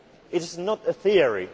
society. It is not